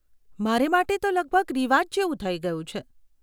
મારે માટે તો લગભગ રિવાજ જેવું થઇ ગયું છે.